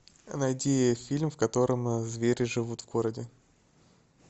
найди фильм в котором звери живут в городе